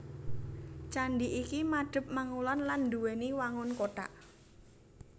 Candhi iki madhep mangulon lan nduwèni wangun kothak